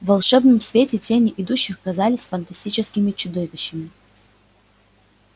в волшебном свете тени идущих казались фантастическими чудовищами